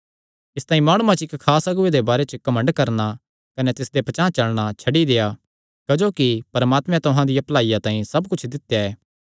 इसतांई माणुआं च इक्क खास अगुऐ दे बारे च घमंड करणा कने तिसदे पचांह़ चलणा छड्डी देआ क्जोकि परमात्मे तुहां दिया भलाईया तांई सब कुच्छ दित्या ऐ